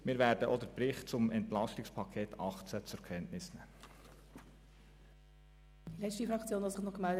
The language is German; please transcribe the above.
Auch werden wir den Bericht zum EP 2018 zur Kenntnis nehmen.